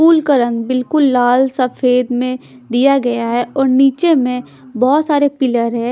फूल का रंग बिल्कुल लाल सफेद में दिया गया है और नीचे में बहोत सारे पिलर हैं।